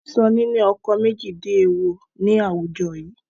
Wọn tí sọ ní ni ọkọ̀ méjì di èèwọ̀ ni àwùjọ yii